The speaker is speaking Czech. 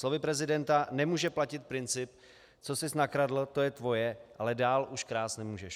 Slovy prezidenta: Nemůže platit princip "co sis nakradl, to je tvoje, ale dál už krást nemůžeš".